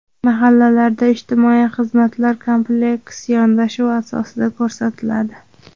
Mahallalarda ijtimoiy xizmatlar kompleks yondashuv asosida ko‘rsatiladi.